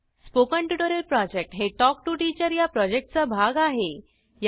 001142 001116049 spoken tutorial project हे talk to teacher या प्रॉजेक्टचा भाग आहे